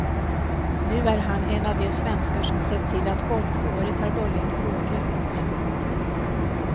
Nu är han en av de svenskar som sett till att golfåret har börjat blågult.